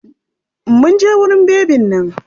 Mun je wurin bebin nan.